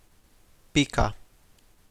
Pika.